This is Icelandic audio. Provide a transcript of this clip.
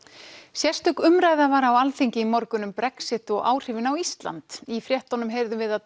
sérstök umræða var á Alþingi í morgun um Brexit og áhrifin á Ísland í fréttunum heyrðum við að